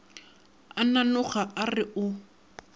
a nanoga a re o